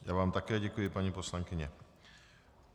Já vám také děkuji, paní poslankyně.